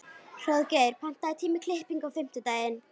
Hróðgeir, pantaðu tíma í klippingu á fimmtudaginn.